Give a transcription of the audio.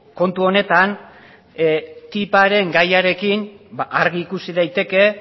kontu honetan tipparen gaiarekin argi ikusi daiteke